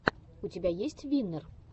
у тебя есть виннер